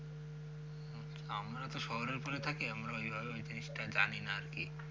আমরা তো শহরের এপাসে থাকি আমরা ওই জিনিসটা অভাবে জানিনা আরকি।